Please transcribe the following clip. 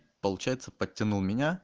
получается подтянул меня